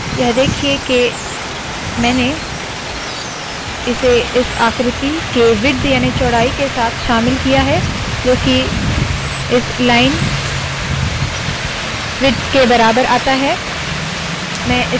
यह देखिए के मैंने इसे इस आकृति के विड्थ याने चौड़ाई के साथ शामिल किया है जो की इस लाइन विड्थ के बराबर आता है